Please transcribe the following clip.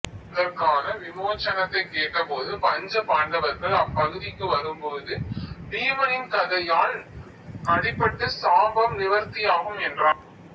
அதற்கான விமோசனத்தைக் கேட்டபோது பஞ்ச பாண்டவர்கள் அப்பகுதிக்கு வரும்போது பீமனின் கதையால் அடிபட்டு சாபம் நிவர்த்தியாகும் என்றார்